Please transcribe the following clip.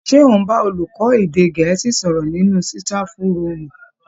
Ṣé ò ń bá olùkọ́ èdè Gẹ̀ẹ́sì sọ̀rọ̀ nínú sitafu rúùmù